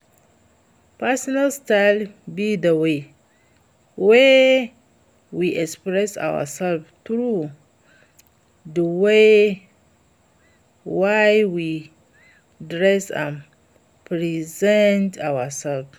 personal style be di way wey we express ourselves through di way wey we dress and present ourselves.